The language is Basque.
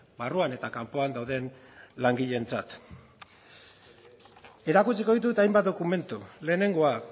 barruan eta kanpoan dauden langileentzat erakutsiko ditut hainbat dokumentu lehenengoa